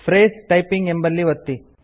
phrase typing ಎಂಬಲ್ಲಿ ಒತ್ತಿ